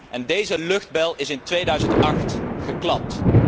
En deze luchtbel is in 2008 geklapt.